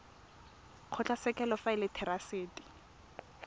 kgotlatshekelo fa e le therasete